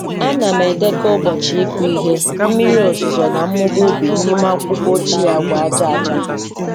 Ana m edekọ ụbọchị ịkụ ihe, mmiri ozuzo na mmụba ubi n’ime akwụkwọ ochie agba aja aja.